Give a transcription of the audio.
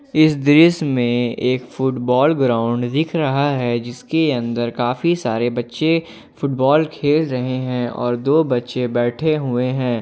इस दृश्य में एक फुटबॉल ग्राउंड दिख रहा है जिसके अंदर काफी सारे बच्चे फुटबॉल खेल रहे हैं और दो बच्चे बैठे हुए हैं।